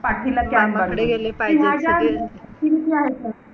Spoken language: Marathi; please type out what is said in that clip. पाठीला can बांधून कि माझ्या